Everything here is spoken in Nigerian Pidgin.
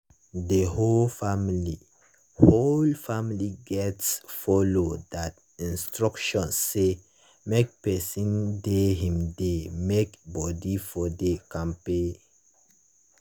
the whole family whole family gats follow that instruction say make person dey him dey make body for dey kampe.